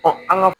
an ka